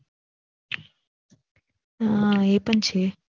હા આ પણ છે